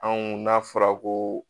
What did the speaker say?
Anw n'a fɔra ko